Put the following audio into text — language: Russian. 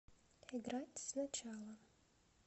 играть сначала